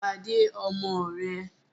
Pàdé ọmọ rẹ̀!